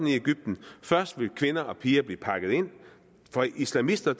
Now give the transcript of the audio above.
i egypten først vil kvinder og piger blive pakket ind for islamister